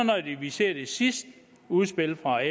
ser de sidste udspil fra